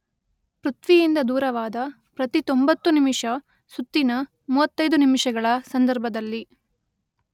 ಪೃಥ್ವಿಯಿಂದ ದೂರವಾದ ಪ್ರತಿ ತೊಂಬತ್ತು ನಿಮಿಷ ಸುತ್ತಿನ ಮೂವತ್ತೈದು ನಿಮಿಷಗಳ ಸಂದರ್ಭದಲ್ಲಿ